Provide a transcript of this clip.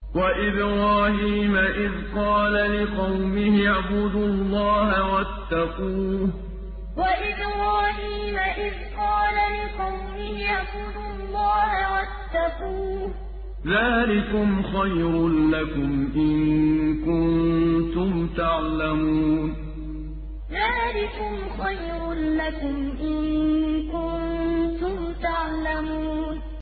وَإِبْرَاهِيمَ إِذْ قَالَ لِقَوْمِهِ اعْبُدُوا اللَّهَ وَاتَّقُوهُ ۖ ذَٰلِكُمْ خَيْرٌ لَّكُمْ إِن كُنتُمْ تَعْلَمُونَ وَإِبْرَاهِيمَ إِذْ قَالَ لِقَوْمِهِ اعْبُدُوا اللَّهَ وَاتَّقُوهُ ۖ ذَٰلِكُمْ خَيْرٌ لَّكُمْ إِن كُنتُمْ تَعْلَمُونَ